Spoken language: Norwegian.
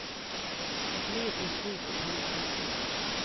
Et liv i slit og tilfredshet.